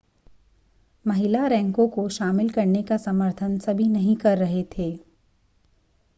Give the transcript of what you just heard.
महिला रैंकों को शामिल करने का समर्थन सभी नहीं कर रहे थे